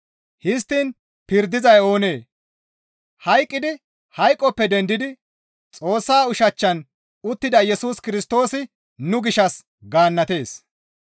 Histtiin pirdizay oonee? Hayqqidi hayqoppe dendidi Xoossa ushachchan uttida Yesus Kirstoosi nu gishshas gaannatees.